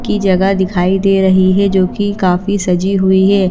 की जगह दिखाई दे रही है जो कि काफी सजी हुई है।